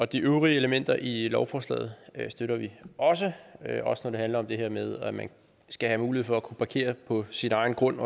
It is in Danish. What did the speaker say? de øvrige elementer i lovforslaget støtter vi også også når det handler om det her med at man skal have mulighed for at kunne parkere på sin egen grund